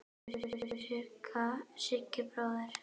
Elsku Siggi bróðir.